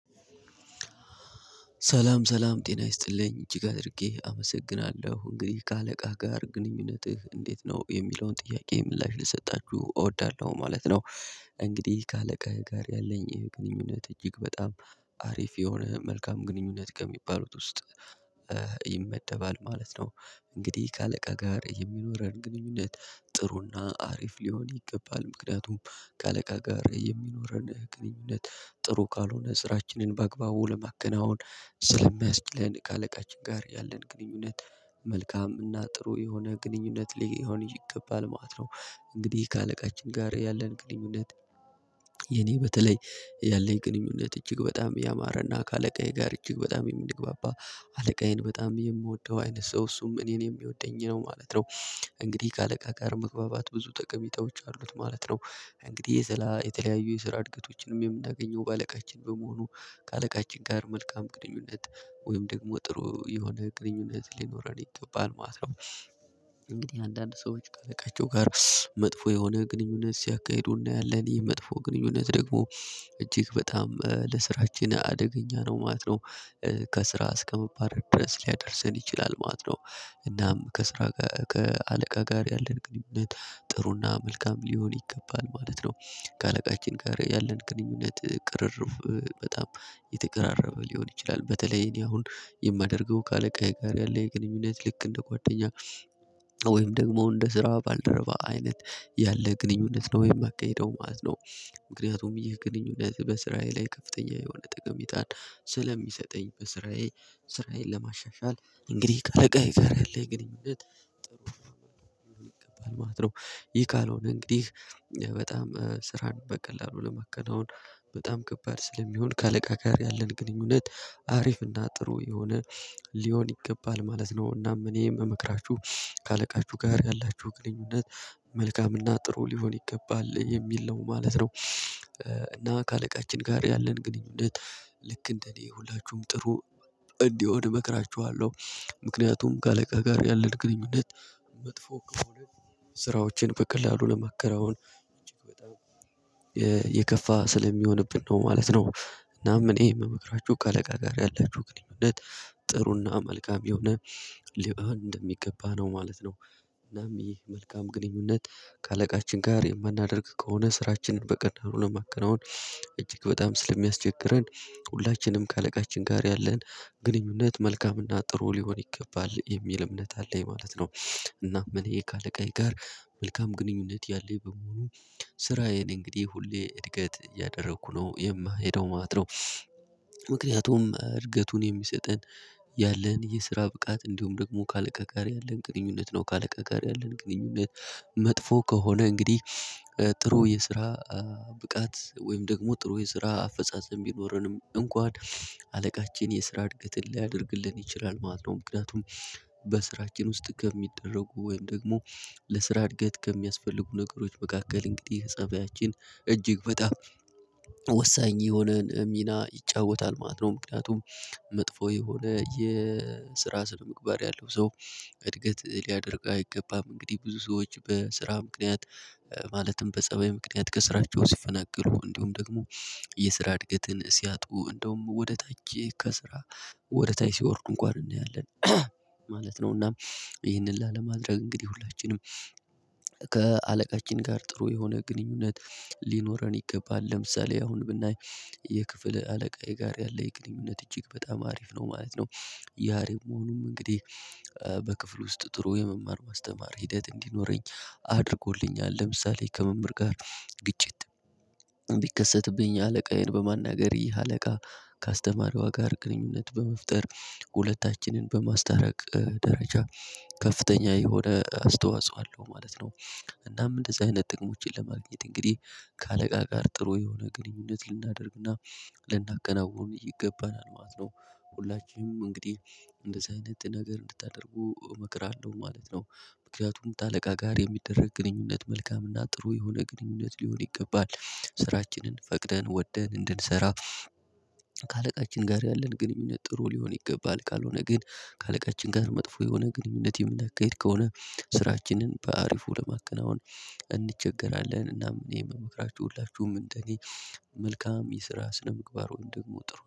ሰላም ሰላም ጤና ይስጥልኝ እጅግ አድርጌ አመሰግናለሁ። እንግዲህ ከአለቃህ ጋር ግንኙነትህ እንዴት ነው? የሚለውን ጥያቄ ምላሽ ልሰጣችሁ እወዳለሁ ማለት ነው። እንግዲህ፦ ከአለቃህ ጋር ያለኝ የግንኙነት እጅግ በጣም አሪፍ የሆነ መልካም ግንኙነት ከሚባሉት ውስጥ ይመደባል ማለት ነው። እንግዲህ ከአለቃ ጋር የሚኖረን ግንኙነት ጥሩና አሪፍ ሊሆን ይገባል ምክንያቱም ከአለቃ ጋር የሚኖረን ግንኙነት ጥሩ ካልሆነ ስራችንን በአግባቡ ለማገናወን ስለሚያስችለን ከአለቃችን ጋር ያለን ግንኙነት መልካም እና ጥሩ የሆነ ግንኙነት ሊሆን ይገባል ማለት ነው። እንግዲህ ከአለቃችን ጋር ያለን ግንኙነት የኔ በተለይ ያለኝ ግንኙነት እጅግ በጣም ያማረና ከአለቃዬ ጋር እጅግ በጣም የምንግባባ አለቃዬን በጣም የምወደው አይነት ሰው እሱም እኔን የሚወደኝ ነው ማለት ነው። እንግዲህ ከአለቃ ጋር መግባባት ብዙ ጠቀሜታዎች አሉት ማለት ነው። እንግዲህ የተለያየ የስራ እድገቶችንም የምናገኘው በአለቃችን በመሆኑ ከአለቃችን ጋር መልካም ቅንኙነት ወይም ደግሞ ጥሩ የሆነ ግንኙነት ሊኖረን ይገባል ማለት ነው። እንግዲህ አንዳንድ ሰዎች ካለቃቸው ጋር መጥፎ የሆነ ግንኙነት ሲያካሂዱ እናያለን ይህ መጥፎ ግንኙነት ደግሞ እጅግ በጣም ለስራችን አደገኛ ነው ማለት ነው። ከስራ እስከመባረር ድረስ ሊያደርሰን ይችላል ማለት ነው። እናም ከስራ ከአለቃ ጋር ያለን ግንኙነት ጥሩና መልካም ሊሆን ይገባል ማለት ነው። ከአለቃችን ጋር ያለን ቅንኙነት ቅሪርብ በጣም የተቀራረበ ሊሆን ይችላል በተለይ እኔ አሁን የማደርገው ከአለቃዬ ጋር ያለ የግኑኝነት ልክ እንደ ጓደኛ ወይም ደግሞ እንደ ስራ ባልደረባ አይነት ያለ ግንኙነት ነው ወይም ባካሄደው ማለት ነው። ምክይጣልም ይህ ግንኙነት በስራዬ ላይ ከፍተኛ የሆነ ጥቅም ይሰጣል ስለሚሰጠኝ በስራዬ ስራዬን ለማሻሻል እንግዲህ ከአለቃዬ ጋር ያለኝ ጥሩ ይገባል ማለት ነው። ይህ ካልሆነ እንግዲህ በጣም ስራን በቀላሉ ለማከናወን በጣም ከባድ ስለሚሆን ከአለቃ ጋር ያለን ግንኙነት አሪፍና ጥሩ የሆነ ሊሆን ይገባል ማለት ነው። እናም እኔም የሚመክራችሁ ከአለቃችሁ ጋር ያላችሁ ግኑኝነት መልካምና ጥሩ ሊሆን ይገባል የሚል ነው ማለት ነው። እና ከአለቃችን ጋር ያለን ግንኙነት ልክ እንደኔ ሁላችሁም ጥሩ እንዲሆን እመክራችኋለሁ፦ ምክንያቱም ከአለቃ ጋር ያለን ግንኙነት መጥፎ ከሆነ ስራዎችን በቀላሉ ለማከናውን እጅግ በጣም የከፋ ስለሚሆንብን ነው ማለት ነው። እናም እኔ የምመክራችሁ ከአለቃ ጋር ያላችሁ ግንኙነት ጥሩና መልካም የሆነ ሌላ እንደሚገባ ነው ማለት ነው። እናም ይህ መልካም ግንኙነት ከአለቃችን ጋር የማናደርግ ከሆነ ስራችንን በቀላሉ ለማከናወን እጅግ በጣም ስለሚያስቸግረን ሁላችንም ከአለቃችን ጋር ያለን ግንኙነት መልካምና ጥሩ ሊሆን ይገባል የሚል እምነት አለኝ ማለት ነው። እና ምን ይሄ ከአለቃዬ ጋር መልካም ግንኙነት ያለኝ በመሆኑ ስራዬን እንግዲህ ሁሌ እድገት እያደረኩ ነው የማሄደው ማለት ነው። ምክንያቱም እድገቱን የሚሰጠን ያለን የስራ ብቃት እንዲሁም ደግሞ ከአለቃ ጋር ያለን ግንኙነት ነው። ከአለቃ ጋር ያለን ግንኙነት መጥፎ ከሆነ እንግዲህ ጥሩ የስራ ብቃት ወይም ደግሞ ጥሩ የስራ አፈጻጸም ቢኖረንም እንኳን አለቃችን የስራ እድገትን ሊያደርግልን ይችላል ማለት ነው። ምክንያቱም በስራችን ውስጥ ከሚደረጉ ወይም ደግሞ ለስራ እድገት ከሚያስፈልጉ ነገሮች መካከል እንግዲህ ፀብያችን እጅግ በጣም ወሳኝ የሆነን ሚና ይጫወታል ማለት ነው። ምክንያቱም መጥፎ የሆነ የስራ ስነ ምግባር ያለው ሰው እድገት ሊያደርግ አይገባም። እንግዲህ ብዙ ሰዎች በስራ ምክንያት ማለትም በጸባይ ምክንያት ከስራቸው ሲፈነገሩ እንዲሁም ደግሞ የስራ እድገትን ሲያጡ እንደውም ወደ ታች ከስራ ወደ ታች ሲወርዱ እንኳን እንያለን ማለት ነው። እና ይህንን ላለማድረግ እንግዲህ ሁላችንም ከአለቃችን ጋር ጥሩ የሆነ ግንኙነት ሊኖረን ይገባል። ለምሳሌ አሁን ብናይ የክፍለ አለቃዬ ጋር ያለ የግንኙነት እጅግ በጣም አሪፍ ነው ማለት ነው። ያሬም መሆኑም እንግዲህ በክፍል ውስጥ ጥሩ የመማር ማስተማር ሂደት እንዲኖረኝ አድርጎልኛል። ለምሳሌ ከመምህር ጋር ግጭት ቢከሰትብኝ አለቃዬን በማናገር ይህ አለቃ ካስተማሯ ጋር ግንኙነት በመፍጠር ሁለታችንን በማስታረቅ ደረጃ ከፍተኛ የሆነ አስተዋጽኦ አለው ማለት ነው። እናም እንደዚህ አይነት ጥቅሞችን ለማግኘት እንግዲህ ከአለቃ ጋር ጥሩ የሆነ ግንኙነት ልናደርግና ልናከናውነው ይገባናል ማለት ነው። ሁላችንም እንግዲህ እንደዚህ አይነት ነገር እንድታደርጉ እመክራለሁ ማለት ነው። ምክንያቱም ከአለቃ ጋር የሚደረግ ግንኙነት መልካምና ጥሩ የሆነ ግንኙነት ሊሆን ይገባል። ስራችንን ፈቅደን ወደን እንድንሰራ ከአለቃችን ጋር ያለን ግንኙነት ጥሩ ሊሆን ይገባል ካልሆነ ግን ከአለቃችን ጋር መጥፎ የሆነ ግንኙነት የምናካሂድ ከሆነ ስራችንን በአሪፉ ለማከናወን እንቸገራለን እና እኔ የምመክራችሁ ሁላችሁም እንደገኝ መልካም የስራ ስነምግባር ወይም ደግሞ ጥሩ